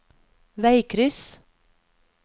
veikryss